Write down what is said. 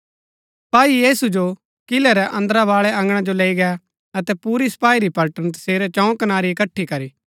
सपाई तैसिओ किलै रै अन्दरा बाळै अँगणा जो लैई गै अतै पुरी सपाई री पलटण तसेरै चंऊ कनारै इकट्ठी करी